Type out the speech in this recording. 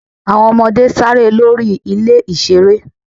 àwọn ọmọde saré lo rí ilé ìsere.